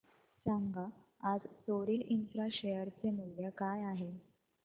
सांगा आज Sorril Infra share चे मूल्य काय आहे